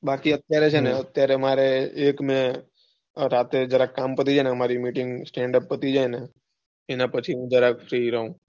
બાકી અત્યારે છે ને મારે એક ને રાતે જરા કામ પતિ જાય ને અમારી meeting, standup પતિ જાય ને એના પછી હુંજરક free રાઉ.